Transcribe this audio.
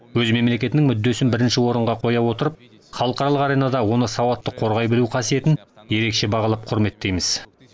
өз мемлекетінің мүддесін бірінші орынға қоя отырып халықаралық аренада оны сауатты қорғай білу қасиетін ерекше бағалап құрметтейміз